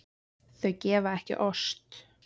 Þau gefa ekki ost.